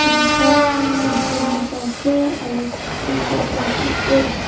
inside ekjon mota ase aru duta plastic chair --